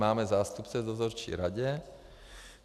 Máme zástupce v dozorčí radě.